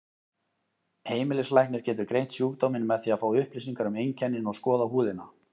Heimilislæknir getur greint sjúkdóminn með því að fá upplýsingar um einkennin og skoða húðina.